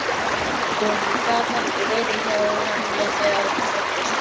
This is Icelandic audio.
Og hann gat ekki verið hjá henni þegar hún fæddist.